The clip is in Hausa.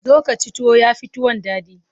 Zo ka ci tuwo, ya fi tuwon daɗi.